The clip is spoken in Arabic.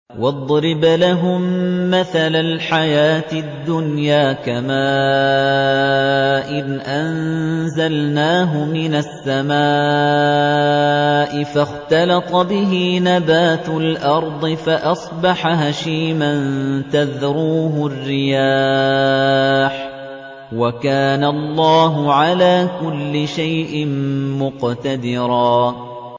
وَاضْرِبْ لَهُم مَّثَلَ الْحَيَاةِ الدُّنْيَا كَمَاءٍ أَنزَلْنَاهُ مِنَ السَّمَاءِ فَاخْتَلَطَ بِهِ نَبَاتُ الْأَرْضِ فَأَصْبَحَ هَشِيمًا تَذْرُوهُ الرِّيَاحُ ۗ وَكَانَ اللَّهُ عَلَىٰ كُلِّ شَيْءٍ مُّقْتَدِرًا